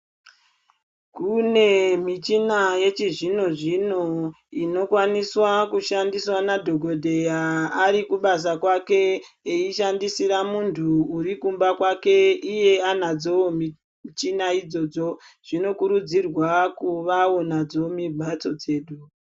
Kune michina yechizvino zvino inokwaniswa kushandiswa nadhogodheya ari kubasa kwake eishandisira muntu urikumba kwake, iye anadzowo michina idzodzo. Zvinokurudzirwa kuvawo nadzo mumhatso dzedu.